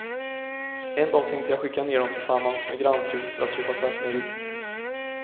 En dag tänkte jag skicka ner dem tillsammans med grannfrun för att köpa tvättmedel.